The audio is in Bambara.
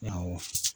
Awɔ